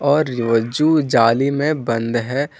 और जू जाली में बन्द है।